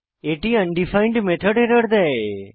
এটি undefined method error দেয়